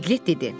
Piqlet dedi: